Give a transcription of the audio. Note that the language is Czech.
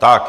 Tak.